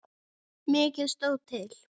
Mikið stóð til.